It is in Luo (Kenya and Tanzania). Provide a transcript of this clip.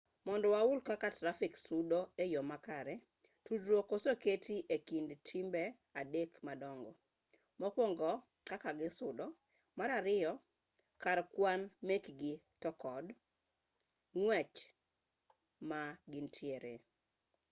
mondo wahul kaka trafik sudo e yo makare tudruok oseketi e kind timbe adek madongo 1 kaka gisudo 2 kar kwan mekgi to kod 3 ng'wech ma gintiere